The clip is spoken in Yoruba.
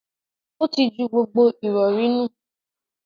Ó tí ju gbogbo ìrọ̀rí nù.